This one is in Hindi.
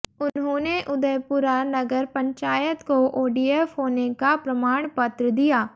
उन्होंने उदयपुरा नगर पंचायत को ओडीएफ होने का प्रमाण पत्र दिया